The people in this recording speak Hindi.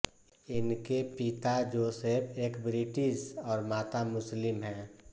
इनके पिता जोसफ एक ब्रिटिश और माता मुस्लिम हैं